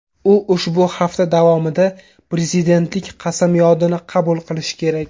U ushbu hafta davomida prezidentlik qasamyodini qabul qilishi kerak.